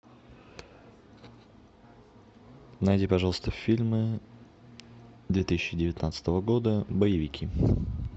найди пожалуйста фильмы две тысячи девятнадцатого года боевики